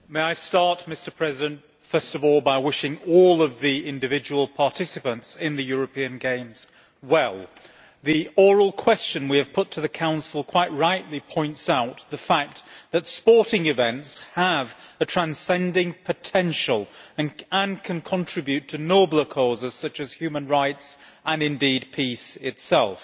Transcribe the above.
Mr President, I would like to start by wishing all of the individual participants in the European Games well. The oral question we have put to the Council quite rightly points out that sporting events have a transcending potential and can contribute to nobler causes such as human rights and, indeed, peace itself.